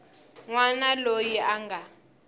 n wana loyi a nga